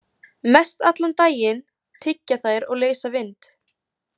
Mestallan daginn tyggja þær og leysa vind.